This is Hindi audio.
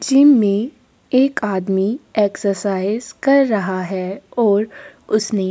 जिम में एक आदमी एक्सरसाइज कर रहा हैं और उसने --